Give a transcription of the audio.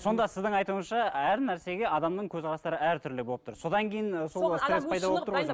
сонда сіздің айтуыңызша әр нәрсеге адамның көзқарастары әртүрлі болып тұр содан кейін